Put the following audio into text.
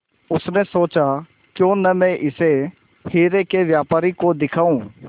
उसने सोचा क्यों न मैं इसे हीरे के व्यापारी को दिखाऊं